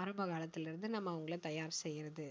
ஆரம்ப காலத்தில இருந்து நாம அவங்களை தயார் செய்யுறது